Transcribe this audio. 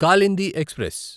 Kalindi express